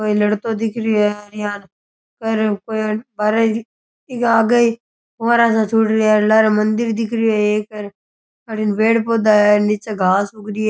कोई लड़तो दिख रहियो है यान कर इक आगे ही फ़ुवारा सा छूट रिया लारे मंदिर दिख रहियो है र एक अठीने पेड़ पौधा है नीचे घास उग रही है।